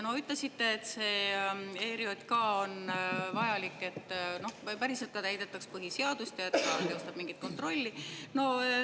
No te ütlesite, et see ERJK on vajalik, et päriselt ka täidetaks põhiseadust, ja et ta teostab mingit kontrolli.